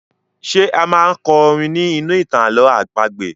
Ṣé a máa kọ orin ní inú ìtàn àlọ̀ọ́ àpagbè?